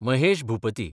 Mahesh Bhupathi